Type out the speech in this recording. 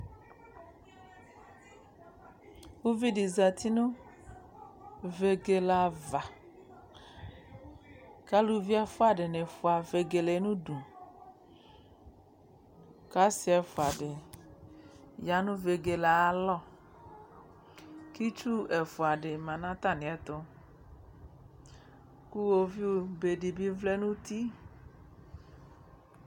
Uvidɩ zati nʋ vegele ava, k'aluvi ɛfua dɩnɩ fua vegele yɛ n'udu, k'asɩ ɛfua dɩ ya nʋ vegele yɛ ayalɔ, k'itsu ɛfua dɩ ma nʋ atamiɛtʋ k'iwoviu be dɩ bɩ vlɛ n'uti